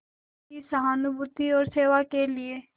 की सहानुभूति और सेवा के लिए